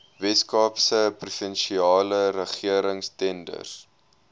weskaapse provinsiale regeringstenders